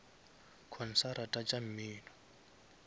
konsarata tša mmino